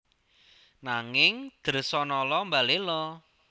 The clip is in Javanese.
Nanging Dresanala mbaléla